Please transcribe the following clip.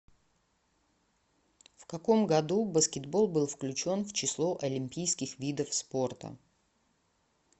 в каком году баскетбол был включен в число олимпийских видов спорта